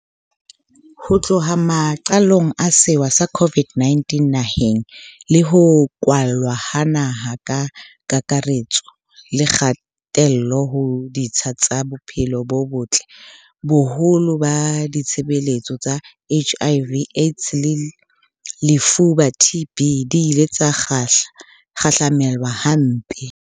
Ho tloha maqalong a sewa sa COVID-19 naheng, le ho kwalwa ha naha ka kakare-tso le kgatello ho ditsha tsa bophelo bo botle, boholo ba ditshebeletso tsa HIV, AIDS le lefuba, TB, di ile tsa kgahla-melwa hampe.